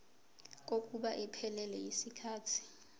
kokuba iphelele yisikhathi